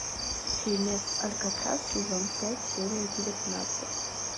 фильмец алькатрас сезон пять серия девятнадцать